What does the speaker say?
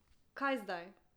Kaj zdaj?